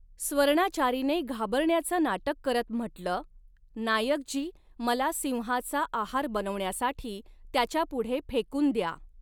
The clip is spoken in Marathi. स्वर्णाचारीने घाबरण्याचं नाटक करत म्हटलं, 'नायकजी, मला सिंहाचा आहार बनवण्यासाठी त्याच्यापुढे फेकून द्या!